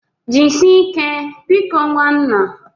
Jisie ike biko nwannaa.